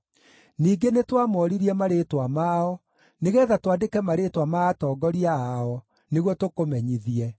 Ningĩ nĩtwamoririe marĩĩtwa mao, nĩgeetha twandĩke marĩĩtwa ma atongoria ao, nĩguo tũkũmenyithie.